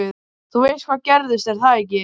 Þú veist hvað gerðist, er það ekki?